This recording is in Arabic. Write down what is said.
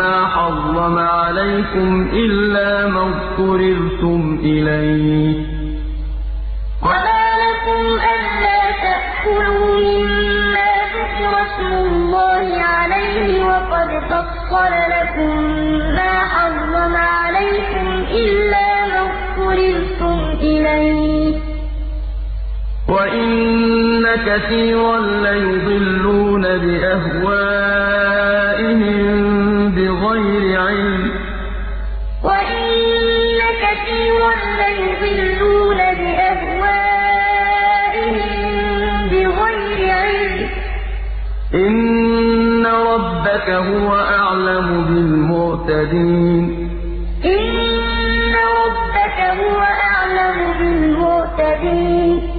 مَّا حَرَّمَ عَلَيْكُمْ إِلَّا مَا اضْطُرِرْتُمْ إِلَيْهِ ۗ وَإِنَّ كَثِيرًا لَّيُضِلُّونَ بِأَهْوَائِهِم بِغَيْرِ عِلْمٍ ۗ إِنَّ رَبَّكَ هُوَ أَعْلَمُ بِالْمُعْتَدِينَ وَمَا لَكُمْ أَلَّا تَأْكُلُوا مِمَّا ذُكِرَ اسْمُ اللَّهِ عَلَيْهِ وَقَدْ فَصَّلَ لَكُم مَّا حَرَّمَ عَلَيْكُمْ إِلَّا مَا اضْطُرِرْتُمْ إِلَيْهِ ۗ وَإِنَّ كَثِيرًا لَّيُضِلُّونَ بِأَهْوَائِهِم بِغَيْرِ عِلْمٍ ۗ إِنَّ رَبَّكَ هُوَ أَعْلَمُ بِالْمُعْتَدِينَ